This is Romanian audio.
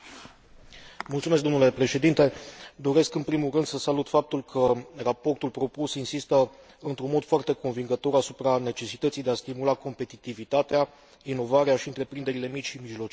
Doresc, în primul rând, să salut faptul că raportul propus insistă într un mod foarte convingător asupra necesității de a stimula competitivitatea, inovarea și întreprinderile mici și mijlocii și, de asemenea, de a sprijini tineretul.